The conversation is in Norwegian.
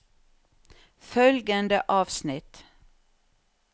Følgende avsnitt